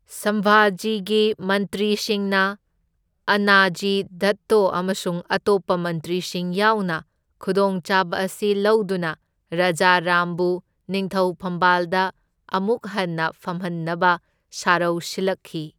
ꯁꯝꯚꯥꯖꯤꯒꯤ ꯃꯟꯇ꯭ꯔꯤꯁꯤꯡꯅ ꯑꯟꯅꯥꯖꯤ ꯗꯠꯇꯣ ꯑꯃꯁꯨꯡ ꯑꯇꯣꯞꯄ ꯃꯟꯇ꯭ꯔꯤꯁꯤꯡ ꯌꯥꯎꯅ ꯈꯨꯗꯣꯡꯆꯥꯕ ꯑꯁꯤ ꯂꯧꯗꯨꯅ ꯔꯥꯖꯥꯔꯥꯝꯕꯨ ꯅꯤꯡꯊꯧ ꯐꯝꯕꯥꯜꯗ ꯑꯃꯨꯛ ꯍꯟꯅ ꯐꯝꯍꯟꯅꯕ ꯁꯔꯧ ꯁꯤꯜꯂꯛꯈꯤ꯫